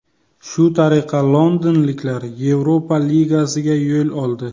Shu tariqa londonliklar Yevropa Ligasiga yo‘l oldi.